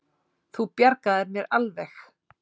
Þú bjargaðir mér alveg!